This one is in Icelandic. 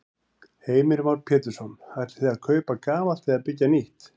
Heimir Már Pétursson: Ætlið þið að kaupa gamalt eða byggja nýtt?